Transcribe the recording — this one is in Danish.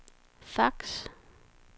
fax